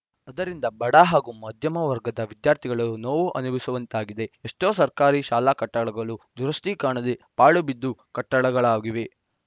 ಅದರಿಂದ ಬಡ ಹಾಗೂ ಮಾಧ್ಯಮ ವರ್ಗದ ವಿದ್ಯಾರ್ಥಿಗಳು ನೋವು ಅನುಭವಿಸುವಂತಾಗಿದೆ ಎಷ್ಟೋ ಸರ್ಕಾರಿ ಶಾಲಾ ಕಟ್ಟಡಗಳು ದುರಸ್ತಿ ಕಾಣದೆ ಪಾಳು ಬಿದ್ದ ಕಟ್ಟಡಗಳಾಗಿವೆ